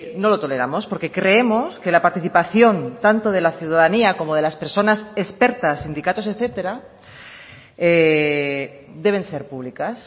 no lo toleramos porque creemos que la participación tanto de la ciudadanía como de las personas expertas sindicatos etcétera deben ser públicas